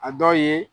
A dɔ ye